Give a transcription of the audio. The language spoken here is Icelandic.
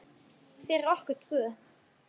Fyrir okkur tvö.